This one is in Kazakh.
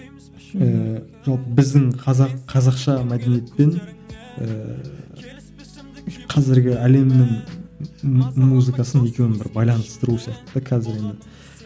ііі жалпы біздің қазақ қазақша мәдениет пен ііі қазіргі әлемнің музыкасын екеуін бір байланыстыру сияқты да қазіргіні